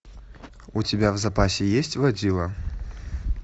у тебя в запасе есть водила